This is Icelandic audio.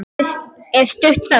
Fyrst er stutt þögn.